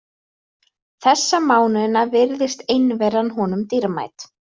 Þessa mánuðina virðist einveran honum dýrmæt.